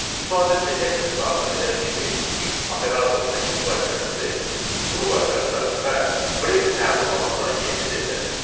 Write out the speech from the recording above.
İstifadəçi exit daxil edən kimi if operatorundakı müqayisə əmri true qaytaracaq və break təlimatına keçid ediləcək.